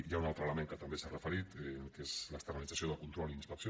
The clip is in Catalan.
hi ha un altre element al qual també s’han referit que és l’externalització del control i inspecció